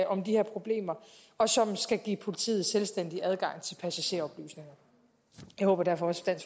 om de her problemer og som skal give politiet selvstændig adgang til passageroplysninger jeg håber derfor også